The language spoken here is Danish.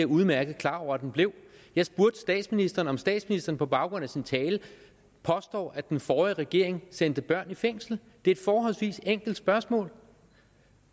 udmærket klar over at den blev jeg spurgte statsministeren om statsministeren på baggrund af sin tale påstår at den forrige regering sendte børn i fængsel det er et forholdsvis enkelt spørgsmål